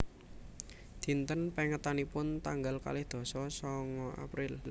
Dinten pèngetanipun tanggal kalih dasa sangaApril